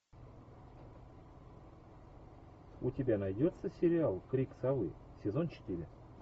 у тебя найдется сериал крик совы сезон четыре